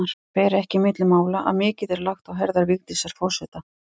Það fer ekki milli mála að mikið er lagt á herðar Vigdísi forseta.